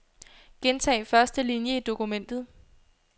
Gentag første linie i dokumentet.